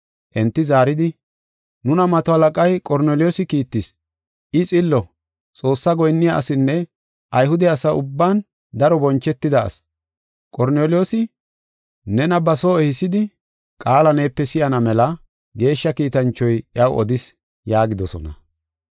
Enti zaaridi, “Nuna mato halaqay Qorneliyoosi kiittis. I xillo, Xoossaa goyinniya asinne Ayhude asa ubban daro bonchetida asi. Qorneliyoosi, nena ba soo ehisidi qaala neepe si7ana mela geeshsha kiitanchoy iyaw odis” yaagidosona.